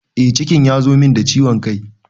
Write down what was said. Eh cikin ya zo min da ciwon kai